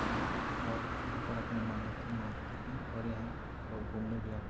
नहीं और यहाँ पर अपनी मन्नतें माँगते हैं और यहाँ लोग घूमने भी आते --